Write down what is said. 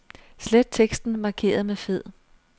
Slet teksten markeret med fed.